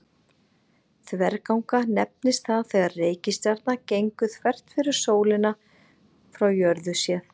Þverganga nefnist það þegar reikistjarna gengur þvert fyrir sólina frá jörðu séð.